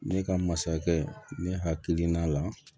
Ne ka masakɛ ne hakili la